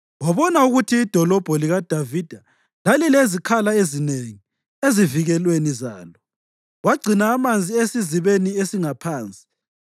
wabona ukuthi iDolobho likaDavida lalilezikhala ezinengi ezivikelweni zalo; wagcina amanzi eSizibeni esingaPhansi.